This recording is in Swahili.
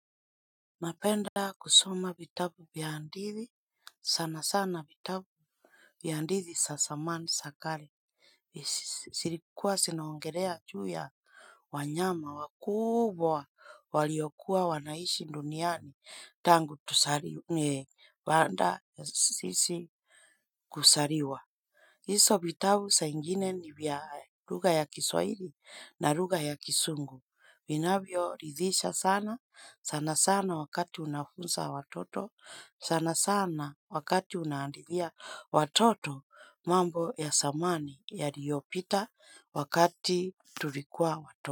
Napenda kusoma bitabu biandithi sana sana bitabu ni handisi sa samani sa kale. Isi sirikuwa sinaongelea juu ya wanyama wakubwa waliokuwa wanaishi duniani tangu tusariwe banda sisi kusaliwa. Hiso bitabu sa ingine ni vya lugha ya kiswahili na lugha ya kisungu. Vinavyoridhisha sana, sana sana wakati unafunza watoto, sana sana wakati unahandithia watoto mambo ya samani yaliyopita wakati tulikuwa watoto.